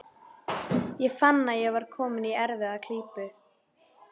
Ég fann að ég var kominn í erfiða klípu.